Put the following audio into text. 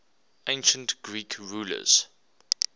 ancient greek rulers